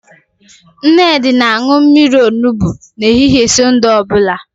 Nnedi na-aṅụ mmiri olubo n'ehihie Sọnde ọ bụla